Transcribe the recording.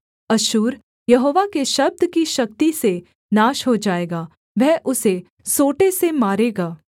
अश्शूर यहोवा के शब्द की शक्ति से नाश हो जाएगा वह उसे सोंटे से मारेगा